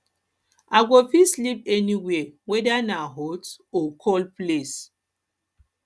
i go fit sleep anywhere weda na hot or cool place